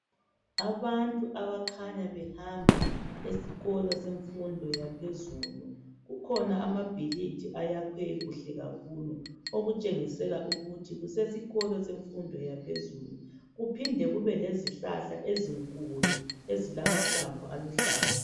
Abantu abakhanya behamba esikolo semfundo yaphezulu, kukhona amabhilidi ayakhiwe kuhle kakhulu okutshengisela ukuthi kusesikolo semfundo yaphezulu kuphinde kube lezihlahla ezinkulu ezilamahlamvu aluhlaza